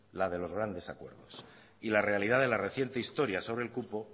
la de los grandes acuerdos y la realidad de la reciente historia sobre el cupo